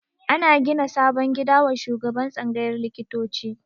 Ana gina sabon gida wa shugaban tsangayar likitoci